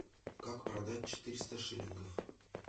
как продать четыреста шиллингов